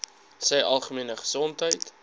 sy algemene gesondheid